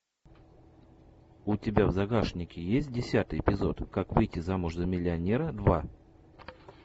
у тебя в загашнике есть десятый эпизод как выйти замуж за миллионера два